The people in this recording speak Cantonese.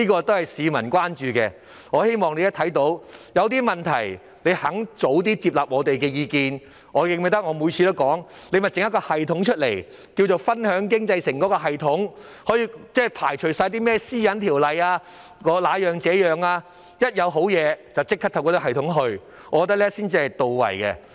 這是市民關注的問題，如果當局願意接納我們的意見，我認為政府可以透過一個稱為"分享經濟成果"的系統處理，無須考慮是否符合《個人資料條例》的要求，我認為這樣做才稱得上是到位。